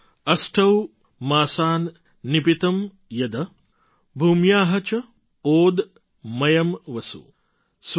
अष्टौ मासान् निपीतं यद् भूम्या च ओदमयम् वसु